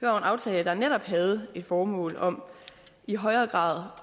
aftale der netop havde et formål om i højere grad